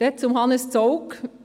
Zu Hannes Zaugg: